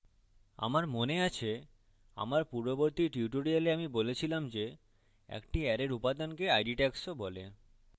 আমার মনে আছে যে আমার পূর্ববর্তী tutorials আমি বলেছিলাম যে একটি অ্যারের উপাদানকে id tags of বলে